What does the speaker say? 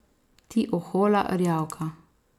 Ti ohola rjavka!